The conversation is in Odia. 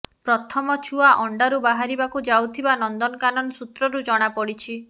ପ୍ରଥମ ଛୁଆ ଆଣ୍ଡାରୁ ବାହାରିବାକୁ ଯାଉଥିବା ନନ୍ଦନକାନନ ସୂତ୍ରରୁ ଜଣାପଡ଼ିଛି